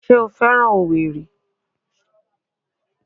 Ṣé o féràn owerri?